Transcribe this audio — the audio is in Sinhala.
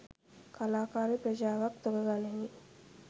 කලාකාර ප්‍රජාවක් තොග ගණනින්